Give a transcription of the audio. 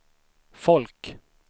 folk